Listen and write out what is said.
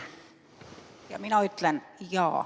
Ja mina ütlen: "Jaa."